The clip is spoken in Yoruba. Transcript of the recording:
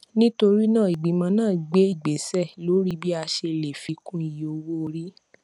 nítorí náà ìgbìmọ náà gbé ìgbésẹ lórí bí a ṣe lè fi kún iye owó orí